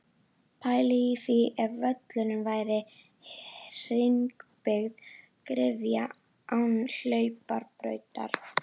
Pælið í því ef völlurinn væri hringbyggð gryfja án hlaupabrautar?